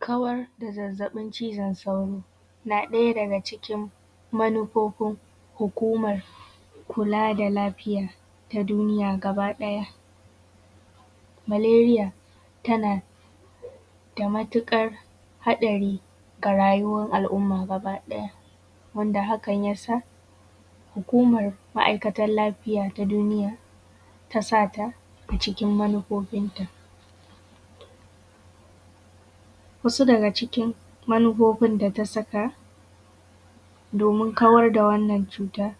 Kawar da zazzaɓin cizon sauro na ɗaya daga cikin manufofin hukumar kula da lafiya ta duniya gaba ɗaya. Maleriya tana da matuƙar haɗari ga rayuwar al'umma gaba ɗaya. Wanda hakan ya sa hukumar ma'aikatan lafiya ta duniya ta sa ta a cikin manufofin ta. Wasu daga cikin manufofin da ta saka domin kawar da wannan cutar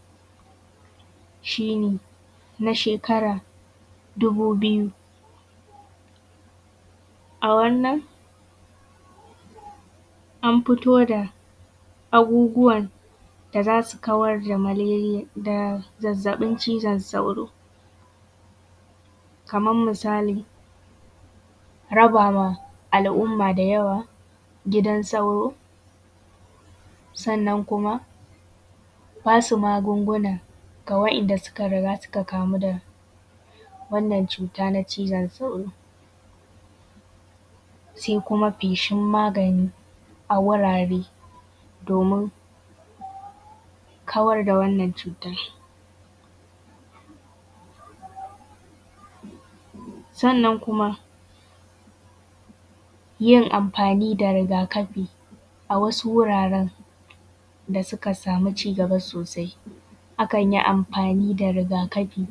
shi ne na shekara dubu biyu. A wannan an fito da abubuwan da za su kawar da zazzaɓin cizon sauro kamar misali, raba ma al'umma da yawa gidan sauro sannan kuma ba su magunguna ga wa'inda suka riga suka kamu da wannan cuta ta cizon sauro. Sai kuma feshin magani a wurare domin kawar da wannan cutar. Sannan kuma yin amfani da rigakafi a wasu wuraren da suka samu cigaba sosai, akan yi amfani da riga kafi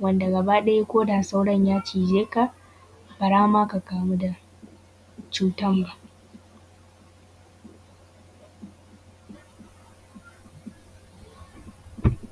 wanda gaba ɗaya ko da sauron ya cije ka to ba za ma ka kamu da cutar ba.